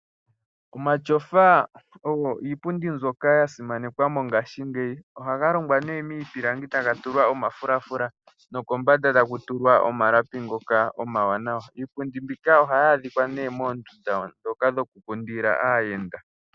Omatyofa ogo iipundi mbyoka ya simanekwa mongaashingeyi. Ohaga longwa nee miipilangi taga tulwa omafulafula nokombanda taku tulwa omalapi ngoka omawanawa. Iipundi mbika ohayi adhika nee moondunda ndhoka dhoku kundika aayenda.